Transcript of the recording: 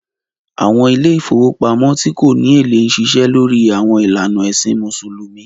Àwọn ilé ìfowópamọ́ tí kò ní èlé ń ṣiṣẹ́ lórí àwọn ìlànà ẹ̀sìn Mùsùlùmí